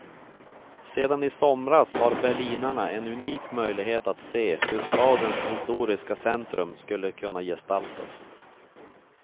Sedan i somras har berlinarna en unik möjlighet att se, hur stadens historiska centrum skulle kunna gestaltas.